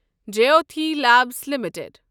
Jyothy labs limited